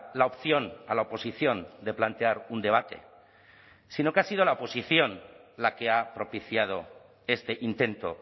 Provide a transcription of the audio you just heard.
la opción a la oposición de plantear un debate sino que ha sido la oposición la que ha propiciado este intento